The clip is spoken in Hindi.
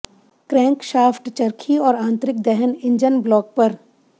क्रैंकशाफ्ट चरखी और आंतरिक दहन इंजन ब्लॉक पर